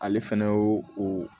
Ale fɛnɛ y'o o